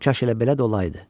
Kaş elə belə də olayıdı.